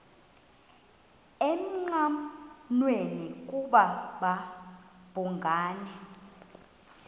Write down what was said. engqanweni ukuba babhungani